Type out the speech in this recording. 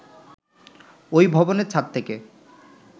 ওই ভবনের ছাদ থেকে